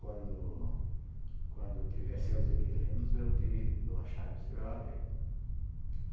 Quando quando tiver sem os inquilinos, eu te dou a chave e você vai lá ver.